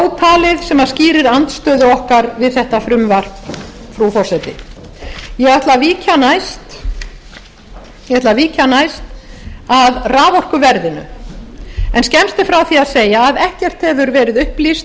ýmislegt ótalið sem skýrir andstöðu okkar við þetta frumvarp frú forseta ég ætla að víkja næst að raforkuverðinu en skemmst er frá því að segja að ekkert hefur verið upplýst